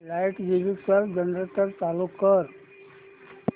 light गेली तर generator चालू कर